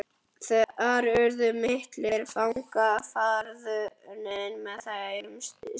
Þar urðu miklir fagnaðarfundir með þeim systrum.